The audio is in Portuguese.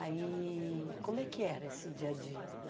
Aí, como é que era esse dia-a-dia?